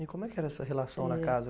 E como é que era essa relação na casa?